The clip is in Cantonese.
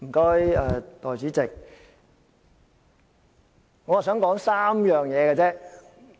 代理主席，我只想說3件事。